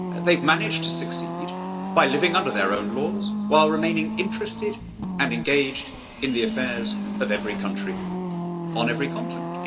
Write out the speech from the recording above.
They have managed to succeed by living under their own laws, while remaining interested and engaged in the affairs of every country on every continent.